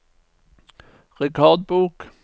rekordbok